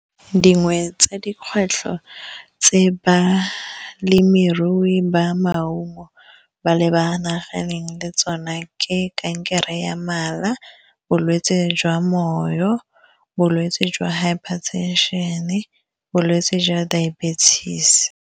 Dingwe tsa dikgwetlho tse balemirui ba maungo ba lebaganeng le tsona ke kankere ya mala, bolwetse jwa moyo bolwetse jwa hiper tension-e, bolwetse jwa diabetic.